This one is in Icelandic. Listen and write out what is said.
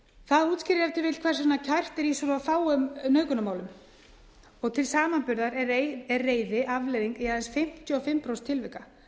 það útskýrir ef til vill hvers vegna kært er í svo fáum nauðgunarmálum til samanburðar er reiði afleiðing í aðeins fimmtíu og fimm prósent tilvika